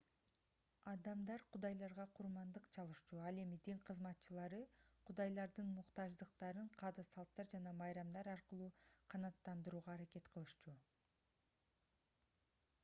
адамдар кудайларга курмандык чалышчу ал эми дин кызматчылары кудайлардын муктаждыктарын каада-салттар жана майрамдар аркылуу канааттандырууга аракет кылышчу